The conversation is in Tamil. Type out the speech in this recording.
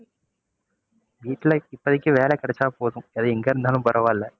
வீட்டுல இப்போதைக்கு வேலை கிடைச்சா போதும், அது எங்க இருந்தாலும் பரவாயில்ல.